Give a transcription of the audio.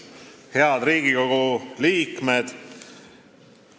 Head Riigikogu liikmed!